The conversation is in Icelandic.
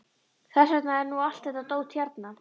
Þess vegna er nú allt þetta dót hérna.